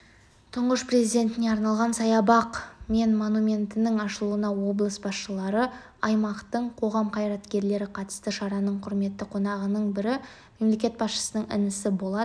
тұңғыш президентіне арналған саябақ мен монументтің ашылуына облыс басшылары аймақтың қоғам қайраткерлері қатысты шараның құрметті қонағының бірі мемлекет басшысының інісі болат